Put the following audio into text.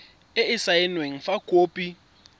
e e saenweng fa khopi